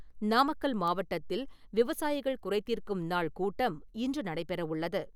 நாமக்கல் மாவட்டத்தில் விவசாயிகள் குறைதீர்க்கும் நாள் கூட்டம் இன்று நடைபெறவுள்ளது.